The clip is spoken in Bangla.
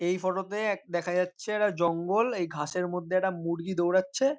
এই ফটো -তে এক দেখা যাচ্ছে একটা জঙ্গল এই ঘাসের মধ্যে একটা মুরগি দৌড়াচ্ছে--